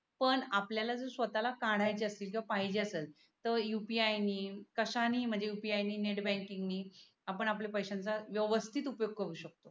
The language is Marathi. पण आपल्या ला जर स्वताला कड्याचे असतील किवा पहिजे असेल तर UPI णी कश्याणी म्हणजे UPI णी नेत बँकिंग णी आपण आपल्या पैस्यायांचा व्यवस्तीत उपयोग करू शकतो.